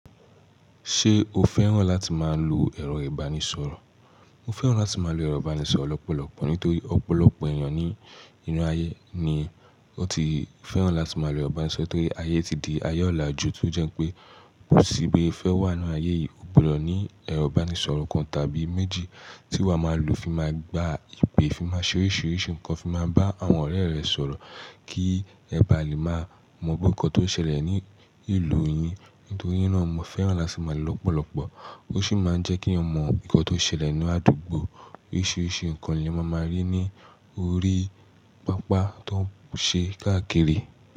Ṣé o fẹ́ràn láti máa lo ẹ̀rọ ìbánisọ̀rọ̀? Mo fẹ́ràn láti máa lo ẹ̀rọ ìbánisọ̀rọ̀ lọ́pọ̀lọpọ̀ nítorí ọ̀pọ̀lọpọ̀ èèyàn ní inú ayé ni wọ́n ti fẹ́ràn láti máa lo ẹ̀rọ ìbánisọ̀rọ̀ torí ayé ti di ayé ọ̀làjú tó jẹ́ pé kò sí bí ẹ fẹ́ wà nínú ayé yìí, o gbọdọ̀ ní ẹ̀rọ ìbánisọ̀rọ̀ kan tàbí méjì tí wàá máa lò fi máa gba ìpè, fi máa ṣeré ṣériṣe nǹkan, fi máa bá àwọn ọ̀rẹ́ rẹ sọ̀rọ̀ kí ẹ bá lè máa mọ bí nǹkan tó ń ṣẹlẹ̀ ní ìlú yín nítorí ná mo fẹ́ràn láti máa lò lọ́pọ̀lọpọ̀. Ó sì máa ń jẹ́ kí eyan mọ nǹkan tó ń ṣẹlẹ̀ nínú àdúgbò. Oríṣiríṣi nǹkan ni ẹ máa máa rí ní orí pápá tó ń ṣe káàkiri.